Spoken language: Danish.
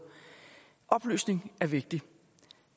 oplysning er vigtigt